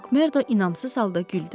Makmerdo inamsız halda güldü.